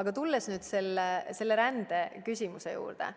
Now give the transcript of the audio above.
Aga tulles nüüd selle rändeküsimuse juurde,